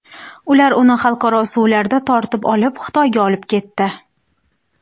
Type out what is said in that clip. Ular uni xalqaro suvlarda tortib olib, Xitoyga olib ketdi.